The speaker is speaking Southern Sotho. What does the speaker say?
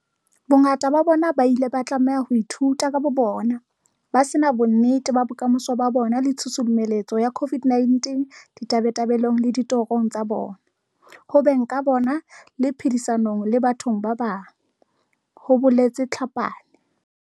"Bongata ba bona ba ile ba tlameha ho ithuta ka bobona, ba se na bonnete ba bokamoso ba bona le tshusumetso ya COVID-19 ditabatabelong le ditorong tsa bona, ho beng ka bona le phedisanong le batho ba bang," ho boletse Tlhapane.